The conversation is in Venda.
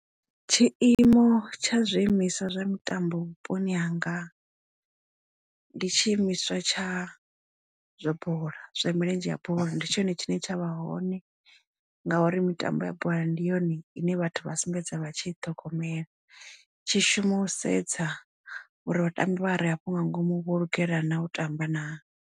Tshiimo tsha zwiimiswa zwa mitambo vhuponi hanga ndi tshi imiswa tsha zwa bola ya milenzhe ya bola ndi tshone tshine tsha vha hone ngauri mitambo ya bola ndi yone ine vhathu vha sumbedza vha tshi ṱhogomela tshi shuma u sedza uri vhatambi vha re afho nga ngomu vho lugela na u tamba na.